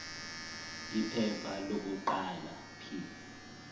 iphepha lokuqala p